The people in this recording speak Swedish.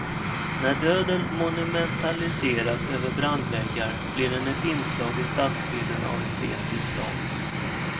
När döden monumentaliseras över brandväggar blir den ett inslag i stadsbilden av estetiskt slag.